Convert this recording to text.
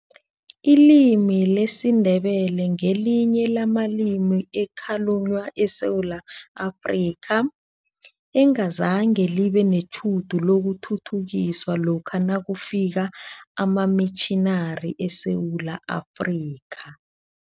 Ilimi lesiNdebele ngelinye lamalimi ekhalunywa eSewula Afrika, engazange libe netjhudu lokuthuthukiswa lokha nakufika amamitjhinari eSewula Afrika.